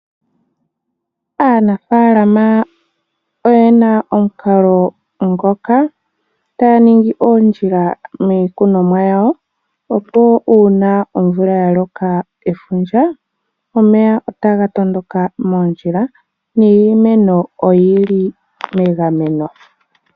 Aanafaalama oyena omukalo ngoka taya ningi oondjila miikunonwa yawo, opo uuna omvula ya loka efundja, omeya otaga tondoka moondjila niimeno oyili megameno.